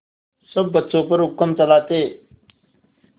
सब बच्चों पर हुक्म चलाते